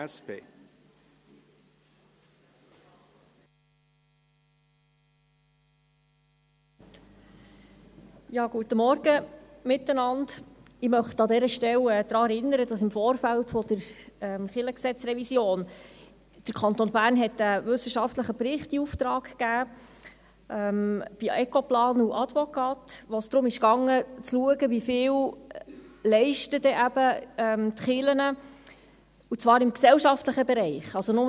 Ich möchte an dieser Stelle daran erinnern, dass der Kanton Bern im Vorfeld der LKG-Revision einen wissenschaftlichen Bericht bei Ecoplan und Ad! Vocate in Auftrag gegeben hatte, wo es darum ging, zu schauen, wie viel die Kirchen im gesellschaftlichen Bereich leisten.